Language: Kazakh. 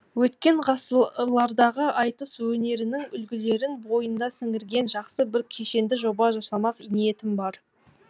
өткен ғасырлардағы айтыс өнерінің үлгілерін бойына сіңірген жақсы бір кешенді жоба жасамақ ниетім бар